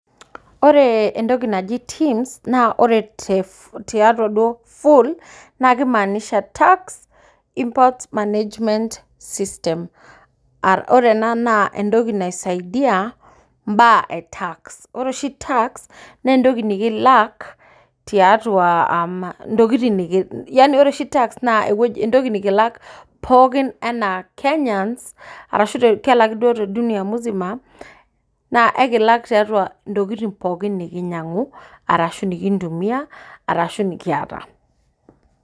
Ore entoki naji Tims naa ore [teff] tiatua duo full naake imaanisha tax import management system. Ah ore ena naa entoki naisaidia imbaa e tax. Ore oshi  tax neentoki nikilak tiatua uhm intokitin nikiin yani ore oshi tax naa ewueji naa entoki nikilak pookin anaa kenyans arashu te kelaki duo te dunia muzima naa eikilak tiatua intokitin pooki nikinyang'u arashu nikintumia arashu nekiata.